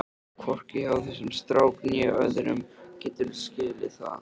HVORKI HJÁ ÞESSUM STRÁK NÉ ÖÐRUM, GETURÐU SKILIÐ ÞAÐ!